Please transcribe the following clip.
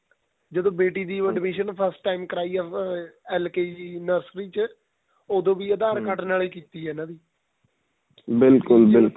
ਜਦੋਂ ਬੇਟੀ ਦੀ admission first time ਕਰਵਾਈ ਏ ਉਹਦੇ L K G nursery ਚ ਉਹਦੋ ਵੀ aadhar card ਨਾਲ ਕੀਤੀ ਏ ਇਹਨਾ ਦੀ ਬਿਲਕੁਲ ਬਿਲਕੁਲ